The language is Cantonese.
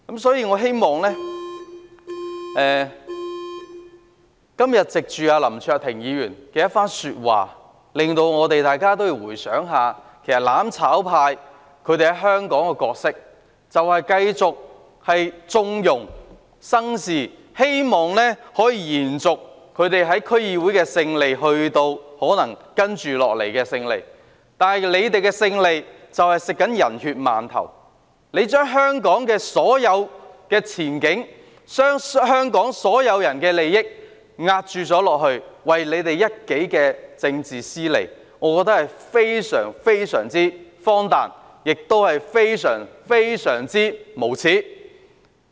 所以，我希望林卓廷議員今天的一番話會令大家反思一下，"攬炒派"在香港的角色就是繼續縱容別人生事，以期他們在區議會取得的勝利可以延續至接下來的選舉，但他們為了取得勝利，正在吃"人血饅頭"，將香港所有前景、所有人的利益當作押注，為的只是他們一己的政治私利，我覺得非常荒誕，而且非常無耻。